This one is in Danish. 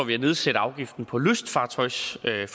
vi at nedsætte afgiften på lystfartøjsforsikringer